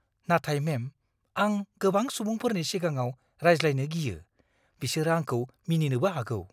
नाथाय मेम, आं गोबां सुबुंफोरनि सिगाङाव रायज्लायनो गियो। बिसोरो आंखौ मिनिनोबो हागौ।